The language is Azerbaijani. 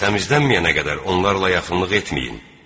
Təmizlənməyənə qədər onlarla yaxınlıq etməyin.